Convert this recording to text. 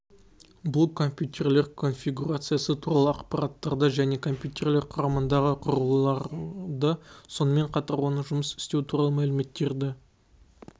бұл компьютерлер конфигурациясы туралы ақпараттарды және компьютерлер құрамындағы құрылғыларды сонымен қатар оның жұмыс істеу туралы мәліметтерді